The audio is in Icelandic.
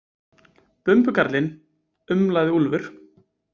Bumbukarlinn, umlaði Úlfur.